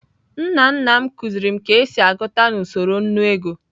Nna nna m kuziri m ka esi agụta na usoro nnu ego.